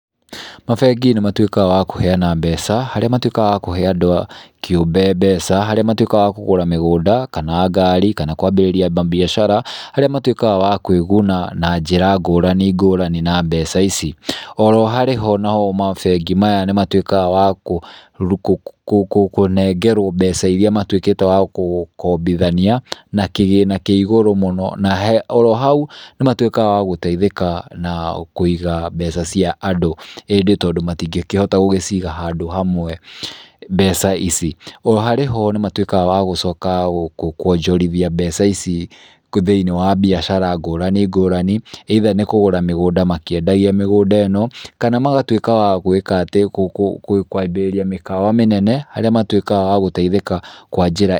Mabengi nĩ matuĩkaga wa kũheana mbeca harĩa matuĩkaga a kũhe andũ kĩũmbe mbeca, harĩa matuĩkaga wa kũgũra mĩgũnda kana ngari kana kwambĩrĩria mambiacara harĩa matuĩkaga wa kũĩguna na njĩra ngũrani ngũrani na mbeca ici. Oro harĩ ho namo mabengi maya nĩ matuĩkaga wa kũnengerwo mbeca iria matuĩkĩte wa kũkombithania, na kĩgĩna kĩ igũrũ mũno na oro hau nĩ matuĩkaga wa gũteithĩka na kũiga mbeca ciaandũ. ĩndĩ tondũ matingĩkĩhita gũgĩciga handũ hamwe mbeca ici. O harĩ ho nĩ matuĩkaga wa gũcoka kuonjorithia mbeca ici thiĩniĩ wa mbiacara ngũrani ngũrani ĩitha nĩ kũgũra mĩgũnda makĩendagia mĩgũnda ĩno, kana magatuĩka wa gũĩka atĩ, kwambĩrĩria mĩkawa mĩnene harĩa matuĩkaga wa gũteithĩka kwa njĩra,